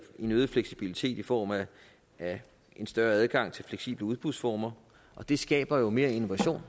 en øget fleksibilitet i form af en større adgang til fleksible udbudsformer og det skaber jo mere innovation